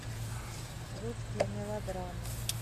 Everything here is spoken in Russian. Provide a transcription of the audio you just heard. русские мелодрамы